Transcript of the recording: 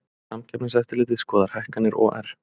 Samkeppniseftirlitið skoðar hækkanir OR